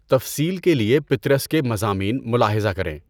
تفصیل کے لیے پطرس کے مضامین ملاحظہ کریں۔